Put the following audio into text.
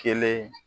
Kelen